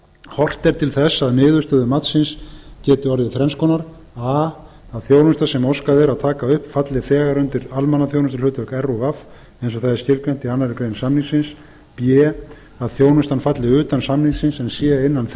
horft er til þess að niðurstöður matsins geti orðið þrenns konar a að þjónusta sem óskað er að taka upp falli þegar undir almannaþjónustuhlutverk rúv eins og það er skilgreint í annarri grein samningsins b að þjónustan falli utan samningsins en sé inna